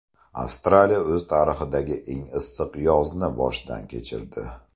Avstraliya o‘z tarixidagi eng issiq yozni boshdan kechirdi.